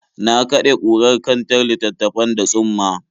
Na kaɗe kurar kantar littattafan da tsumma.